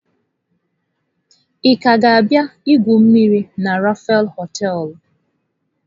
Ị ka ga-abịa igwu mmiri na Rapha hoteelu?